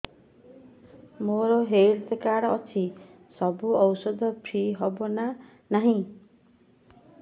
ମୋର health card ଅଛି ସବୁ ଔଷଧ ଫ୍ରି ହବ ନା ନାହିଁ